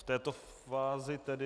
V této fázi tedy...